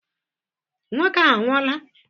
Nwoke ahụ ọ nwụola?